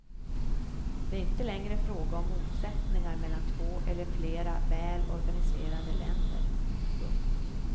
Det är inte längre fråga om motsättningar mellan två eller flera väl organiserade länder. punkt